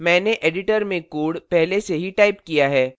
मैंने editor में code पहले से ही टाइप किया है